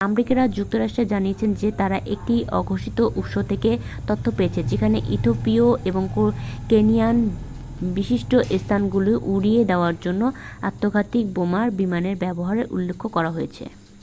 "America যুক্তরাষ্ট্র জানিয়েছে যে তারা একটি অঘোষিত উৎস থেকে তথ্য পেয়েছে যেখানে ইথিওপিয়া এবং কেনিয়ার "বিশিষ্ট স্থানগুলি" উড়িয়ে দেওয়ার জন্য আত্মঘাতী বোমারু বিমানের ব্যবহারের উল্লেখ করা হয়েছে।